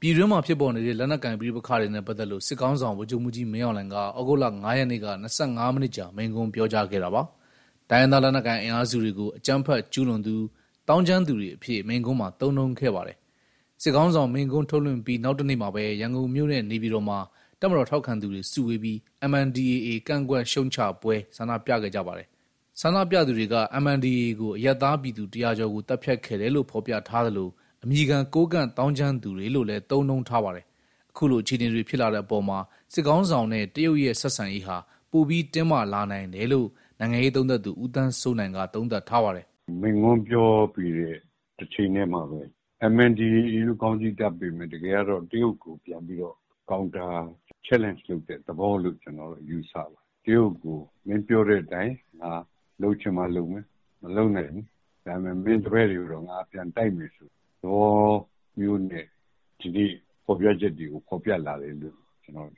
ပြည်တွင်းမှာဖြစ်ပေါ်နေတဲ့ လက်နက်ကိုင်ပဋိပက္ခတွေနဲ့ ပတ်သက်လို့ စစ်ခေါင်းဆောင် ဗိုလ်ချုပ်မှူးကြီး မင်အောင်လှိုင်က ဩဂုတ်လ ၅ ရက်နေ့က ၂၅ မိနစ်ကြာ မိန့်ခွန်းပြောကြားခဲ့တာပါ။ တိုင်းရင်းသားလက်နက်ကိုင် အင်အားစုတွေကို အကြမ်းဖက်ကျူးလွန်သူ၊ သောင်းကျန်းသူတွေအဖြစ် မိန့်ခွန်းမှာ သုံးနှုန်းခဲ့ပါတယ်။ စစ်ခေါင်းဆောင်မိန့်ခွန်း ထုတ်လွှင့်ပြီး နောက်တနေ့မှာပဲ ရန်ကုန်မြို့နဲ့ နေပြည်တော်မှာ တပ်မတော်ထောက်ခံသူတွေ စုဝေးပြီး MNDAA ကန့်ကွက်ရှုတ်ချပွဲ ဆန္ဒပြခဲ့ကြပါတယ်။ ဆန္ဒပြသူတွေက MNDAA ကို အရပ်သားပြည်သူ ၁၀၀ ကျော်ကို သတ်ဖြတ်ခဲ့တယ်လို့ ဖော်ပြထားသလို၊ အမည်ခံ ကိုးကန့်သောင်းကျန်းသူတွေလို့လည်း သုံးနှုန်းထားပါတယ်။ အခုလို အခြေအနေတွေ ဖြစ်လာတဲ့အပေါ်မှာ စစ်ခေါင်းဆောင်နဲ့ တရုတ်ရဲ့ ဆက်ဆံရေးဟာ ပိုပြီးတင်းမာလာနိုင်တယ်လို့ နိုင်ငံရေးလေ့လာသူ ဦးသန်းစိုးနိုင်က သုံးသပ်ထားပါတယ်။ "မိန့်ခွန်းပြောပြီးတဲ့ တချိန်ထဲမှာပဲ MNDAA လို့ ခေါင်းစီးတပ်ပေမယ့် တကယ်ကတော့ တရုတ်ကိုပြန်ပြီးတော့ Counterchallenge လုပ်တဲ့သဘောလို့ ကျနော်တော့ ယူဆတယ်။ တရုတ်ကို မင်းပြောတဲ့အတိုင်း ငါလုပ်ချင်မှလုပ်မယ်၊ မလုပ်နိုင်ဘူး။ ဒါပေမဲ့ မင်းတပည့်တွေကိုတော့ ငါပြန်တိုက်မယ်ဆိုတဲ့ သဘောမျိုးနဲ့ ဒီနေ့ဖော်ပြချက်တွေကို ဖော်ပြလာတယ်လို့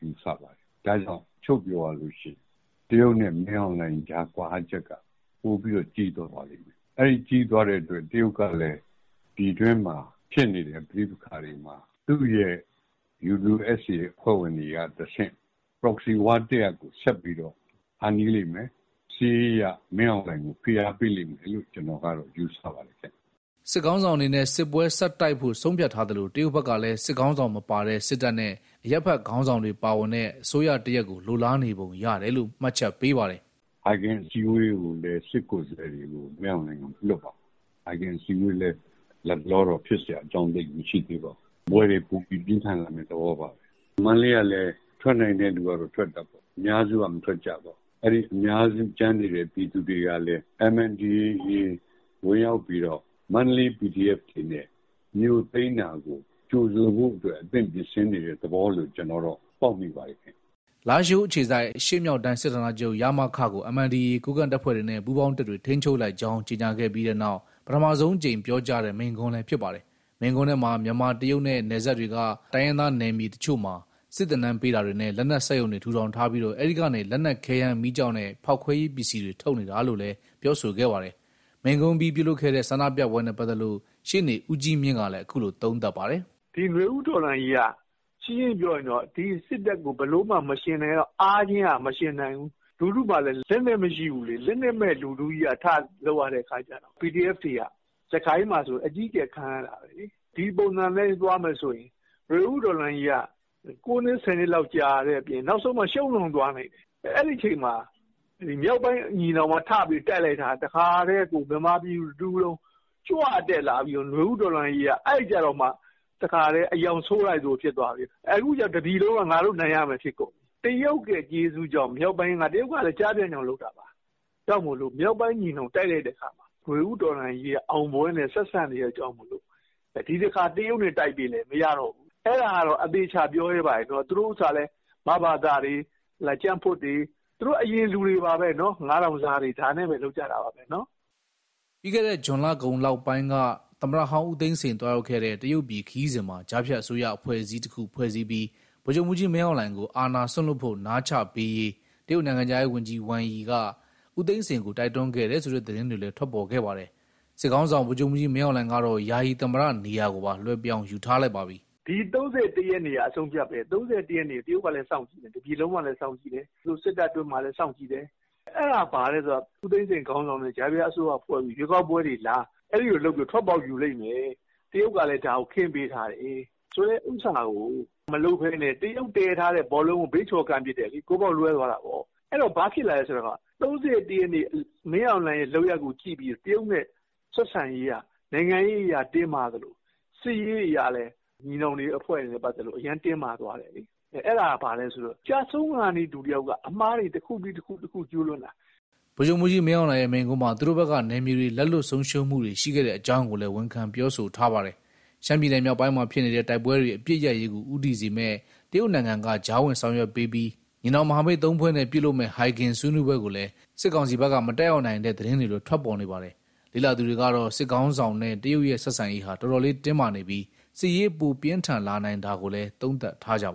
ယူဆပါတယ်။ ဒါကြောင့် ချုံ့ပြောရလို့ရှိရင် တရုတ်နဲ့ မင်းအောင်လှိုင်ကြား ကွာဟချက်က ပိုပြီးတော့ ကြီးသွားပါလိမ့်မယ်။ အဲဒီကြီးသွားတဲ့အတွက် တရုတ်ကလည်း ပြည်တွင်းမှာဖြစ်နေတဲ့ ပဋိပက္ခတွေမှာ သူ့ရဲ့ UWSA အဖွဲ့ဝင်တွေကတဆင့် Proxy war တရပ်ကို ဆက်ပြီးတော့ ဖန်တီးလိမ့်မယ်။ စစ်ရေးအရ မင်းအောင်လှိုင်ကို ဖိအားပေးလိမ့်မယ်လို့ ကျနော်ကတော့ ယူဆပါတယ်။" စစ်ခေါင်းဆောင်အနေနဲ့ စစ်ပွဲဆက်တိုက်ဖို့ ဆုံးဖြတ်ထားသလို၊ တရုတ်ဘက်ကလည်း စစ်ခေါင်းဆောင်မပါတဲ့ စစ်တပ်နဲ့ အရပ်ဘက်ခေါင်းဆောင်တွေ ပါဝင်တဲ့ အစိုးရတရပ်ကို လိုလားနေပုံရတယ်လို့ မှတ်ချက်ပေးပါတယ်။ "ဟိုက်ဂင်အစည်းအဝေးကိုလည်း စစ်ကိုယ်စားလှယ်တွေကို မင်းအောင်လှိုင်က မလွှတ်ပါဘူး။ ဟိုက်ဂင်အစည်းအဝေးလည်း လတ်တလောတော့ ဖြစ်စရာအကြောင်း သိပ်မရှိသေးပါဘူး။ စစ်ပွဲတွေပိုပြီး ပြင်းထန်လာမယ့် သဘောပါပဲ။ မန္တလေးကလည်း ထွက်နိုင်တဲ့သူကတော့ ထွက်တာပေါ့။ အများစုက မထွက်ကြပါဘူး။ အဲဒီအများစု ကျန်နေတဲ့ ပြည်သူတွေကလည်း MNDAA ဝင်ရောက်ပြီးတော့ မန္တလေး PDF တွေနဲ့ မြို့သိမ်းတာကို ကြိုဆိုဖို့အတွက် အသင့်ပြင်ဆင်နေတဲ့ သဘောလို့ ပေါက်မိပါတယ်။" လားရှိုးအခြေစိုက် အရှေ့မြောက်တိုင်း စစ်ဌာနချုပ် ကို MNDAA ကိုးကန့်တပ်ဖွဲ့တွေနဲ့ ပူးပေါင်းတပ်တွေ ထိန်းချုပ်လိုက်ကြောင်း ကြေညာခဲ့ပြီးနောက် ပထမဆုံးအကြိမ် ပြောကြားတဲ့ မိန့်ခွန်းလည်း ဖြစ်ပါတယ်။ မိန့်ခွန်းထဲမှာ မြန်မာ - တရုတ်နဲ့ နယ်စပ်တွေက တိုင်းရင်းသားနယ်မြေ အချို့မှာ စစ်သင်တန်းပေးတာတွေနဲ့ လက်နက် စက်ရုံတွေထူထောင်ထားပြီး အဲဒီကနေ လက်နက်ခဲယမ်းမီးကျောက်နဲ့ ဖောက်ခွဲရေး ပစ္စည်းတွေ ထုတ်နေတာလို့လည်း ပြောဆိုခဲ့ပါတယ်။ မိန့်ခွန့်အပြီး ပြုလုပ်ခဲ့တဲ့ ဆန္ဒပြပွဲနဲ့ပတ်သက်လို့ ရှေ့နေဦးကြီးမြင့်ကလည်း အခုလို သုံးသပ်ထားပါတယ်။ "ဒီနွေဦးတော်လှန်ရေးက ရှင်းရှင်းပြောရရင် ဒီစစ်တပ်ကို အားချင်းကမယှဉ်နိုင်ဘူး။ လူထုမှာလည်း လက်နက်မရှိဘူးလေ။ လက်နက်မဲ့လူထုကြီးက ထလုပ်ရတဲ့အခါကျတော့ PDF တွေက စစ်ကိုင်းမှာဆို အကြီးအကျယ် ခံရတာပဲလေ။ ဒီပုံစံအတိုင်းသွားမယ်ဆိုရင် နွေဦးတော်လှန်ရေးက ၉နှစ်၊ ၁၀နှစ်လောက် ကြာတဲ့အပြင် နောက်ဆုံးမှာ ရှုံးတောင်သွားနိုင်တယ်။ အဲဒီအချိန်မှာ မြောက်ပိုင်းညီနောင်က ထပြီးတိုက်လိုက်တာ လူထုကကြွတက်လာပြီးတော့ နွေဦးတော်လှန်ရေးက အဲကျတော့မှ တခါထဲ အရောင်ဆိုးလိုက်သလို ဖြစ်သွားပြီးတော့ အခုကျ တပြည်လုံးက ငါတို့နိုင်ရမယ် ဖြစ်ကုန်တယ်။ တရုတ်ရဲ့ကျေးဇူးကြောင့် တရုတ်ကလည်း ကျားဖြန့်ကြောင့်လုပ်တာပါ။ မြောက်ပိုင်းညီနောင်က တိုက်လိုက်တဲ့အခါမှာ နွေဦးတော်လှန်ရေးက အောင်ပွဲနဲ့ဆက်စပ်နေတာကြောင့် ဒီတခါ တရုတ်နဲ့တိုက်ပေးလည်း မရတော့ဘူး။ အဲဒါကတော့ အသေအချာ ပြောရဲပါတယ်။ သူတို့ဥစ္စာကလည်း မဘသတွေ၊ ကြံ့ဖွတ်တွေ၊ သူတို့အရင်လူတွေပါပဲ။ ၅,၀၀၀ စားတွေနဲ့ပဲ လုပ်ကြတာပါပဲ။" ပြီးခဲ့တဲ့ ဇွန်လကုန်ပိုင်းလောက်က သမ္မတဟောင်းဦးသိန်းစိန် သွားရောက်ခဲ့တဲ့ တရုတ်ပြည်ခရီးစဉ်မှာ ကြားဖြတ်အစိုးရ အဖွဲအစည်းတခုဖွဲ့စည်းပြီး ဗိုလ်ချုပ်မှူးကြီး မင်းအောင်လှိုင်ကို အာဏာစွန့်လွှတ်ဖို့ နားချပေးရေး တရုတ်နိုင်ငံခြားရေးဝန်ကြီး Wang Yi က ဦးသိန်းစိန်ကို တိုက်တွန်းခဲ့တယ်ဆိုတဲ့ သတင်းတွေလည်း ထွက်ပေါ်ခဲ့ပါတယ်။ စစ်ခေါင်းဆောင် ဗိုလ်ချုပ်မှူးကြီး မင်းအောင်လှိုင်ကတော့ ယာယီသမ္မတနေရာကိုပါ လွှဲပြောင်းယူထားလိုက်ပါပြီ။ "ဒီ ၃၁ ရက်နေ့က အဆုံးအဖြတ်ပဲ။ ၃၁ ရက်နေ့က တရုတ်ကလည်း စောင့်ကြည့်တယ်။ တပြည်လုံးကလည်း စောင့်ကြည့်တယ်။ သူတို့စစ်တပ်အတွင်းမှာလည်း စောင့်ကြည့်တယ်။ အဲဒါဘာလဲဆိုတော့ ဦးသိန်းစိန်ခေါင်းဆောင်တဲ့ ကြားဖြတ်အစိုးရဖွဲ့ပြီး ရွေးကောက်ပွဲတွေလား။ အဲဒီလိုလုပ်ပြီးတော့ ထွက်ပေါက်ယူလိမ့်မယ်။ တရုတ်ကလည်း ဒါကိုခင်းပေးထားတယ်ဆိုတဲ့ ဥစ္စာကို မလုပ်ဘဲနဲ့ တရုတ်တည်ထားတဲ့ ဘောလုံးကို ဘေးချော်ကန်ပစ်တယ်လေ။ ဂိုးပေါက်လွဲသွားတာပေါ့။ အဲတော့ ဘာဖြစ်လာလဲဆိုတော့ ၃၁ရက်နေ့ မင်းအောင်လှိုင်ရဲ့ လုပ်ရပ်ကိုကြည့်ပြီးတော့ တရုတ်နဲ့ ဆက်ဆံရေးက နိုင်ငံရေးအရတင်းမာသလို စစ်ရေးအရလည်း ညီနောင်အဖွဲ့တွေနဲ့ ပတ်သက်လို့ အရမ်းတင်းမာသွားတယ်လေ။ အဲဒါက ဘာလဲဆိုတော့ ကျဆုံးခါနီးလူတယောက်က အမှားတွေတခုပြီးတခု ကျူးလွန်တာပဲ။" ဗိုလ်ချုပ်မှူးကြီး မင်းအောင်လှိုင်ရဲ့ မိန့်ခွန်းမှာ သူတို့ဘက်က နယ်မြေတွေ လက်လွှတ်ဆုံးရှုံးမှုတွေ ရှိခဲ့တဲ့အကြောင်းကိုလည်း ဝန်ခံပြောဆိုထားပါတယ်။ ရှမ်းပြည်နယ်မြောက်ပိုင်းမှာဖြစ်နေတဲ့ တိုက်ပွဲတွေ အပစ်ရပ်ရေးကို ဦးတည်စေမယ့် တရုတ်နိုင်ငံက ကြားဝင် ဆောင်ရွက်ပေးပြီး ညီနောင်မဟာမိတ် ၃ ဖွဲ့နဲ့ ပြုလုပ်မယ့် ဟိုင်ဂင်ဆွေးနွေးပွဲကိုလည်း စစ်ကောင်စီဘက်က မတက်ရောက်နိုင်တဲ့ သတင်းတွေလည်း ထွက်ပေါ်နေပါတယ်။ လေ့လာသူတွေကတော့ စစ်ခေါင်းဆောင်နဲ့ တရုတ်ရဲ့ဆက်ဆံရေးဟာ တော်တော်လေးတင်းမာနေပြီး စစ်ရေးပိုပြင်းထန်လာနိုင်တာကိုလည်း သုံးသပ်ထားကြပါ